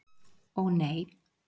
Og, nei.